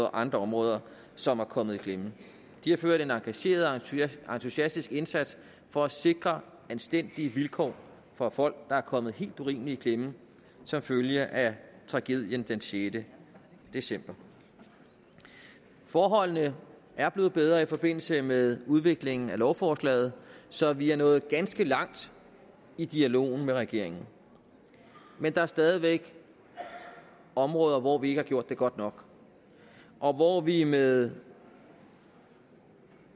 og andre områder som er kommet i klemme de har gjort en engageret og entusiastisk indsats for at sikre anstændige vilkår for folk der er kommet helt urimeligt i klemme som følge af tragedien den sjette december forholdene er blevet bedre i forbindelse med udviklingen af lovforslaget så vi er nået ganske langt i dialogen med regeringen men der er stadig væk områder hvor vi ikke har gjort det godt nok og hvor vi med